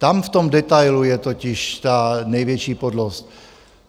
Tam v tom detailu je totiž ta největší podlost.